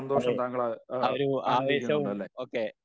അതെ ആ ഒരു ആവേശവും ഒകെ